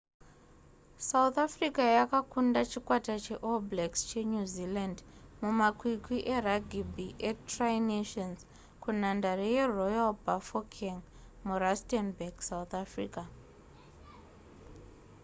south africa yakakunda chikwata cheall blacks chenew zealand mumakwikwi eragibhi etri nations kunhandare yeroyal bafokeng murustenburg south africa